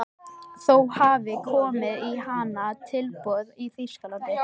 Móníka, einhvern tímann þarf allt að taka enda.